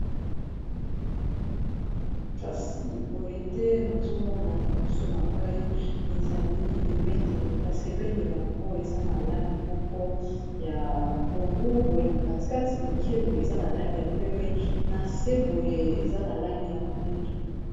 kasi boye nde nazomona liboso na ngai ezali ebendele kasi ebendele yango eza na langi moko ya pondu boye na katikati moke boye eza na langi ya pembe na se boye eza na langi ya mwindu